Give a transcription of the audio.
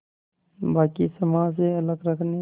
बाक़ी समाज से अलग रखने